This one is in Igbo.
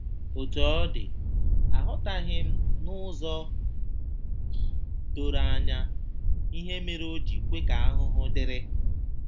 Otú ọ dị, aghọtaghị m n'ụzọ doro anya ihe mere o ji kwe ka ahụhụ dịrị.